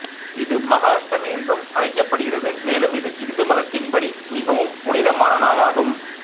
இது மகாஷ்டமி என்றும் அழைக்கப்படுகிறது மேலும் இது இந்து மதத்தின் படி மிகவும் புனிதமான நாளாகும்